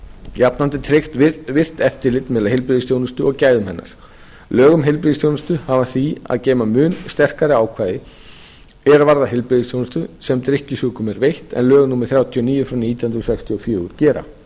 jafnframt er tryggt virkt eftirlit með heilbrigðisþjónustu og gæðum hennar lög um heilbrigðisþjónustu hafa því að geyma mun sterkari ákvæði er varða heilbrigðisþjónustu sem drykkjusjúkum er veitt en lög númer þrjátíu og níu nítján hundruð sextíu og fjögur gera